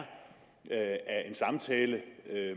af en samtale